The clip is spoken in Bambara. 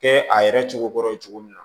Kɛ a yɛrɛ cogo kɔrɔ ye cogo min na